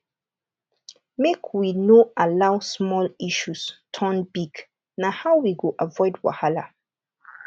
make we no allow small issues turn big na how we go avoid wahala